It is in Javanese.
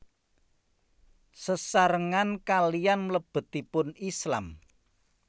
Sesarengan kaliyan mlebetipun Islam